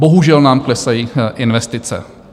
Bohužel nám klesají investice.